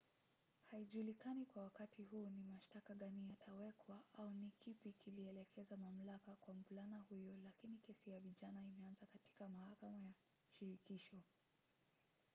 haijulikani kwa wakati huu ni mashtaka gani yatawekwa au ni kipi kilielekeza mamlaka kwa mvulana huyo lakini kesi ya vijana imeanza katika mahakama ya shirikisho